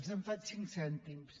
els en faig cinc cèntims